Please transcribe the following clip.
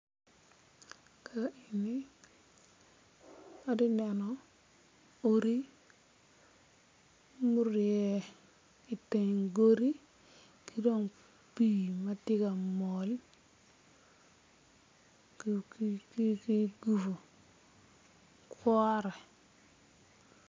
Ka eni atye ka neno odi murye i teng godi ki dong pii ma tye ka mol ki gudo kwora.